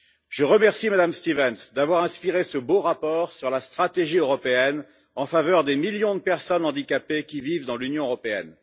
Je remercie Mme Stevens d'avoir inspiré ce beau rapport sur la stratégie européenne en faveur des millions de personnes handicapées qui vivent dans l'Union européenne.